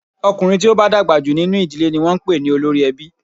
Ọkùnrin tí ó bá dàgbà jù nínú ìdílé ni wọn ń pè ní olórí ẹbí.